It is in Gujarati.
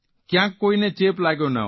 કયાંક કોઇને ચેપ લાગ્યો ન હોય